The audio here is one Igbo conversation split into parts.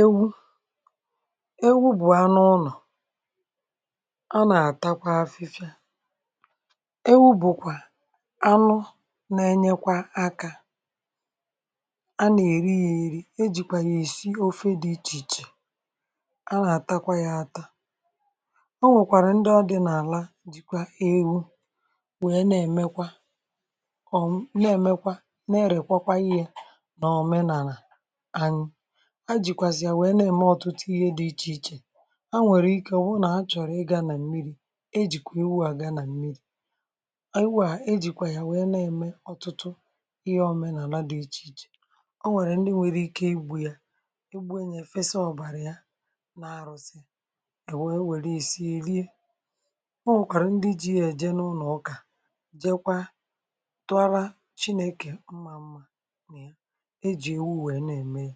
Ewu, ewu, bụ̀ anụ ụnọ̀ a nà-àtakwa afịfịa. Ewu bụ̀kwà(um) anụ nà-ènye kwa akà. A nà-èrikwà ya, yírí e jìkwà ya esi ofe dị iche iche. A nà-àtakwa ya àtà. Ọ nwèkwàrà ndị ọdị n’àla jìkwa ewu, wèe na-èmekwà ọ̀, nà-èmekwà, na-èrèkwàkwa ihe nà òmenàlà. um A nwèrè ike wụ̀rụ̀ nà a chọ̀rọ̀, ị gà nà mmiri̇, e jìkwà iwù à gaa nà mmiri̇. À iwù à e... jìkwà yà nwèe, na-èmè ọ̀tụtụ ihe òmenàlà dị iche iche. Ọ nwèkwàrà ndị nwere ike igbù ya, egbu̇, e nyè, fèsà ọ̀bàrà um ya n’arụsị. È wé, e wère isi, è lie e. Ọ nwèkwàrà ndị ji ya èje n’ụnọ̀ ọkà, jèkwà tụàrà Chineke mmà mmà. E ji ewu wèe... na-ème ya.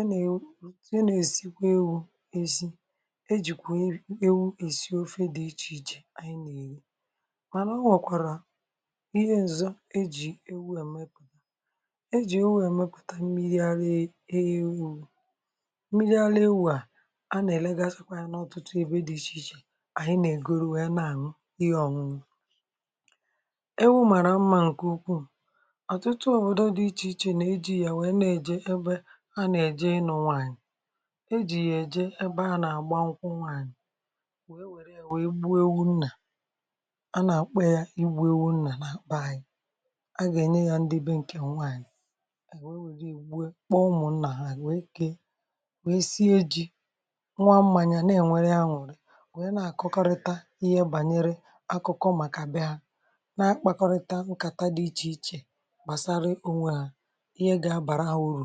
È nà-èwu ọ̀tụ́ie nà-èsikwà ewu̇. E sì, e jìkwà ewu esi ofe dị iche iche. Ànyị nà-èwu, mànà ọ nwọ̀kwàrà ihe ǹzọ̀ um ejì ewu èmepụ̀tà. Ejì ewu èmepụ̀tà mmiri ara ewu̇. Mmiri ara ewu̇ à, a nà-èlegàzị n’ọ̀tụtụ ebe dị iche iche. Ànyị nà-ègoro ya nà àmị̀, ihe ọ̀nụnụ ewu̇ màrà mma. ǹkè okwu, ụ̀ ọ̀tụtụ òbòdò dị iche iche nà-èjì yà, wèe nà-èjikwà yà. Ha nà-èje ịnọ̇ um nwaànyị̀, e jì yà-èje ebe ha nà-àgba nkwụkwọ nwaànyị̀, wèe wère, wèe bù ewu nnà. A nà-àkpọ ya “ị gbu ewu nnà”. Nà-àkpa ànyị, a gà-ènye ya ndị be. ǹkè nwaànyị̀ è... wèe wère ùwè kpọ̀mù nnà, hà àrụ̀, wèe kee, wèe sie ji, nwa mmànyị̀ à. Nà-ènwèrè ya, nwùrè, wèe na-àkọkọrịta ihe bànyere akụkọ, màkà bè ha na-akpakọrịta nkàta dị iche iche gbasàrà onwērè. Ewu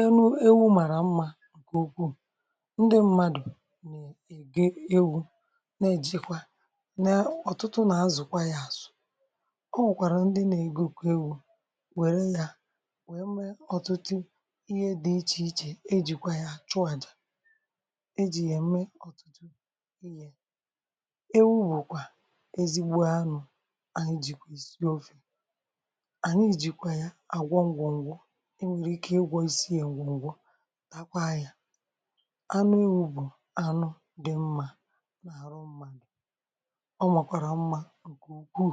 ènu-ewu màrà mma,... ǹkè ukwu. ǹdị mmadụ̀ ègé ewu, nà-èjikwa n’ọ̀tụtụ, nà-azụ̀kwà yà. Àsụ̀. Ọ nwụ̀kwàrà ndị nà-ègò kwa ewu̇, wère yà, wèmè ọ̀tụtụ ihe dị iche iche. Ejìkwà yà chọọ̇jà, ejì yà-èmè ọ̀tụtụ ịyè. Ewu bụ̀kwà ezigbo anụ̇ ànyị jìkọ̀ esi ofe. È nwèrè ike ịgwọ̇ isiè ngwongwo, takwà anyā. Anụ ihu̇ bụ̀ anụ dị̇ mmà, n’àrụ mmà, ǹdị̀ ọ, màkwàrà mmà. ǹkè ugwu.